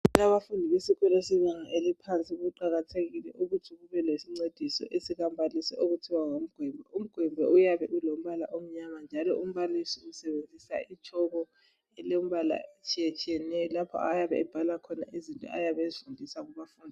Abafundi besikolo sebanga eliphansi kuqakathekile ukuthi kube lesincediso esikambalisi okuthiwa ngumgwembe Umgwembe uyabe ulombala omnyama njalo umbalisi usebenziswa itshoko elombala etshiyetshiyeneyo lapho ayabe ebhala khona izinto ayabe ezifundisa kubafundi